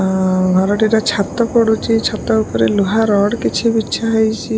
ଆଁ ଘରଟିରେ ଛାତ ପଡୁଚି ଛାତ ଉପରେ ଲୁହା ରଡ୍ କିଛି ବିଛା ହେଇଚି।